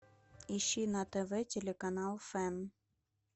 ищи на тв телеканал фэн